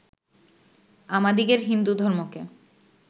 আমাদিগের হিন্দু ধর্মকে